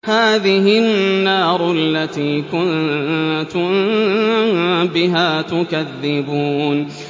هَٰذِهِ النَّارُ الَّتِي كُنتُم بِهَا تُكَذِّبُونَ